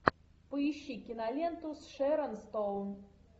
поищи киноленту с шэрон стоун